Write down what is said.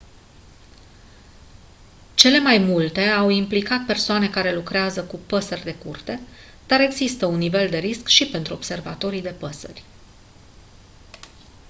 cele mai multe au implicat persoane care lucrează cu păsări de curte dar există un nivel de risc și pentru observatorii de păsări